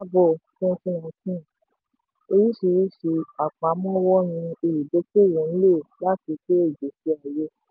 orísìírísìí àpamọ́wọ́ ni olùdókòwò ń lò láti to ìgbésí ayé.